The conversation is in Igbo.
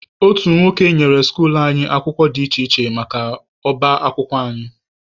Otu nwoke nyere skuluu anyị akwụkwọ dị iche iche maka ọba akwụkwọ anyị.